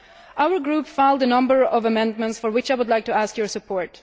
Our group filed a number of amendments for which I would like to ask your support.